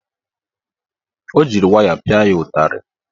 O jiri waya pịa ya ụtarị.